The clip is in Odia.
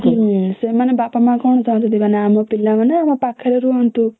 ହୁଁ ସେମାନେ ବାପା ମା କଣ ଚାହାନ୍ତି ଆମ ପିଲା ମାନେ ଆମ ପାଖରେ ରୁହନ୍ତୁ